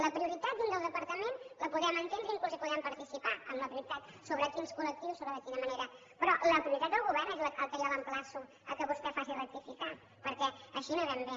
la prioritat dins del departament la podem entendre i inclús podem participar en la prioritat sobre quins col·lectius sobre de quina manera però la prioritat del govern és el que jo l’emplaço que vostè faci rectificar perquè així no anem bé